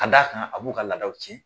Ka d'a kan a b'u ka laadadaw tiɲɛm